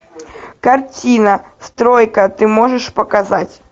картина стройка ты можешь показать